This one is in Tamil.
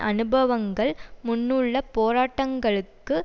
அனுபவங்கள் முன்னுள்ள போராட்டங்களுக்கு